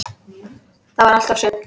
Það var allt og sumt!